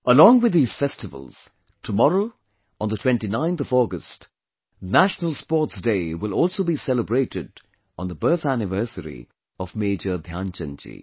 Along with these festivals, tomorrow on the 29th of August, National Sports Day will also be celebrated on the birth anniversary of Major Dhyanchand ji